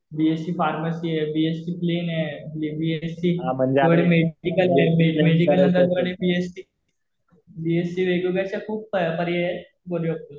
BSc pharmacy आहे. BSc plain आहे. BSc medical आहे. मेडिकल मध्ये बीएससी. बीएससी वेगवेगळे अशे खूप पर्याय आहे फॉर